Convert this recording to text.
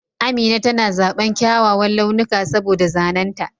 Amina tana zaɓan kyawawan launuka saboda zanen ta.